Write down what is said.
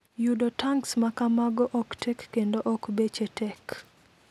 Yudo tanks ma kamago ok tek kendo ok beche tek .